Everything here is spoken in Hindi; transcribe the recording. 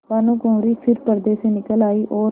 भानुकुँवरि फिर पर्दे से निकल आयी और